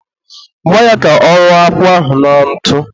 gwa ya ka ọ rụọ akwụ ahụ na ntụ